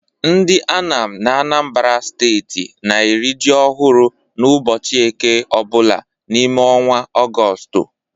Ndị Anam n'Anambara steeti na-eri ji ọhụrụ n'ụbọchị ụka Eke ọ bụla n'ime ọnwa Ọgọstụ.